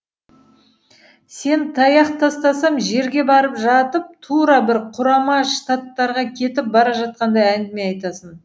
сен таяқ тастасам жерге бара жатып тура бір құрама штаттарға кетіп бара жатқандай әңгіме айтасың